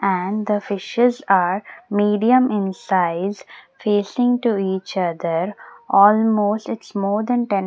and the fishes are medium in size facing to each other almost its more than ten.